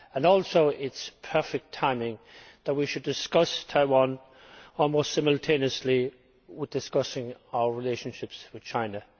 Also, it is perfect timing that we should discuss Taiwan almost simultaneously with discussing our relationship with China.